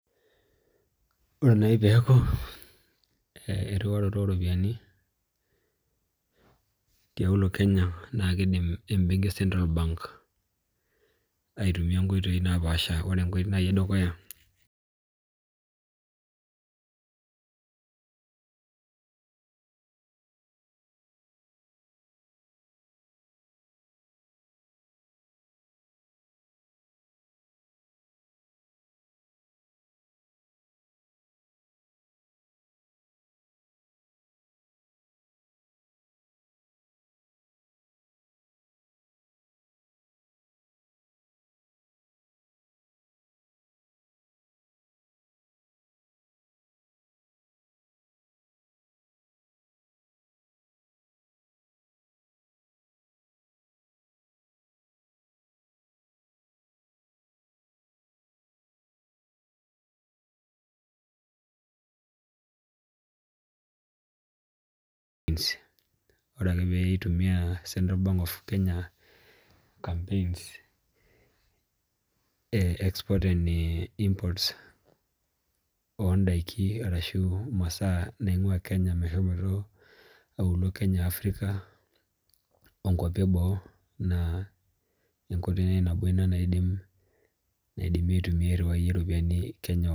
Ore nai peeku erhiwaroto oropiani tialo e Kenya naa niidim embenki e Central Bank aitumia nkoitoi naapasha Ore enkoitoi nai edukuya Ore ake peitumia Central Bank of Kenya campaigns e exports and imports oodaiki arashu imasaa nain'gua Kenya meshomoito aulo Kenya Africa ongwapi eboo naa enkoitoi nai nabo ina naidim aitumia airhiwai iropiani Kenya